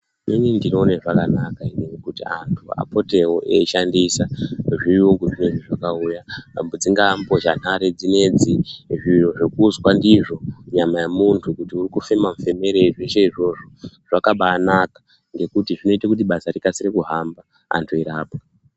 Inini ndinoone zvakanaka inini kuti antu apotewo eishandisa zviyunguzvo zvakauya, pamwe dzingaambozhanhare dzinedzi, zviro zvekuzwa ndizvo nyama yemunhu kuti uri kufema mufemerei. Zveshe izvozvo zvakabaanaka ngekuti zvinoite kuti basa rikase kuhamba, antu eirapwa.